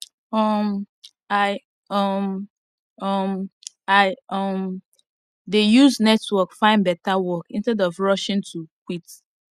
um i um um i um dey use network find better work instead of rushing to quit